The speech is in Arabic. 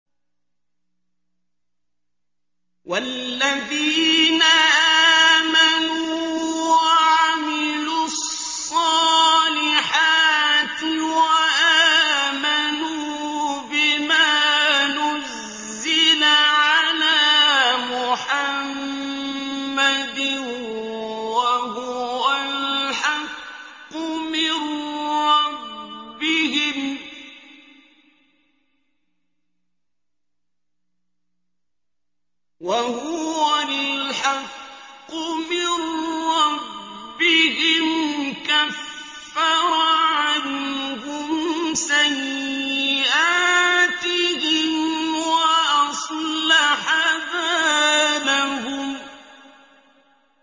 وَالَّذِينَ آمَنُوا وَعَمِلُوا الصَّالِحَاتِ وَآمَنُوا بِمَا نُزِّلَ عَلَىٰ مُحَمَّدٍ وَهُوَ الْحَقُّ مِن رَّبِّهِمْ ۙ كَفَّرَ عَنْهُمْ سَيِّئَاتِهِمْ وَأَصْلَحَ بَالَهُمْ